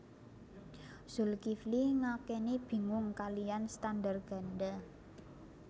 Zulkifli ngakeni bingung kaliyan standar ganda